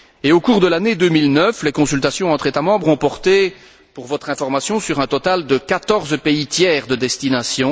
Au cours de l'année 2009, les consultations entre États membres ont porté, à titre d'information, sur un total de 14 pays tiers de destination.